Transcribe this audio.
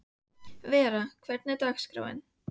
Vera, hvernig er dagskráin?